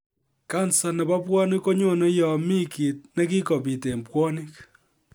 Kansa nebo bwonik konyone yon mi kit nekikobit en bwonik